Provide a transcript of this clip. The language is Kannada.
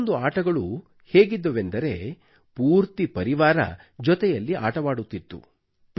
ಕೆಲವೊಂದು ಆಟಗಳು ಹೇಗಿದ್ದವೆಂದರೆ ಪೂರ್ತಿ ಪರಿವಾರವು ಜೊತೆಯಲ್ಲಿ ಆಟವಾಡುತ್ತಿತ್ತು